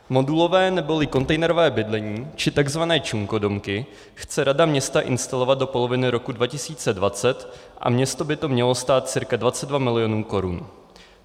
Modulové neboli kontejnerové bydlení, či tzv. čunkodomky, chce rada města instalovat do poloviny roku 2020 a město by to mělo stát cca 22 milionů korun.